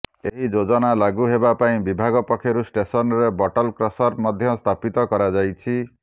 ଏହି ଯୋଜନା ଲାଗୁ ହେବା ପାଇଁ ବିଭାଗ ପକ୍ଷରୁ ଷ୍ଟେସନରେ ବଟଲ କ୍ରସର ମଧ୍ୟ ସ୍ଥାପିତ କରାଯାଇଛି